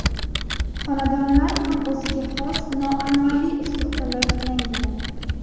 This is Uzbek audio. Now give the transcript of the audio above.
Xonadonlar ham o‘ziga xos, noan’anaviy uslubda loyihalangan.